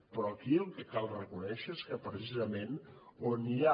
però aquí el que cal reconèixer és que precisament on hi ha